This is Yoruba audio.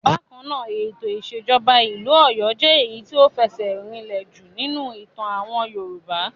Bákan náà, ètò ìṣèjọba ìlú Ọ̀yọ́ jẹ́ èyí tí ó fẹsẹ̀ rinlẹ̀ jù nínú ìtàn àwọn Yorùbá.